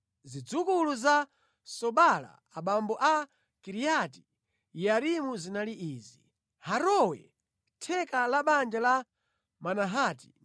Zidzukulu za Sobala abambo a Kiriati Yearimu zinali izi: Harowe, theka la banja la Manahati,